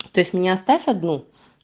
то есть меня оставь одну